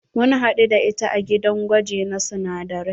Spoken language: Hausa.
Mun hadu da ita a dagin gwaji na sunadarai.